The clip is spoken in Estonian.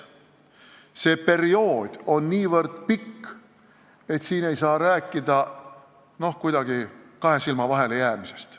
See periood on nii pikk, et kuidagi ei saa rääkida mingist kahe silma vahele jäämisest.